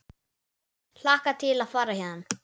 Hlakka til að fara héðan.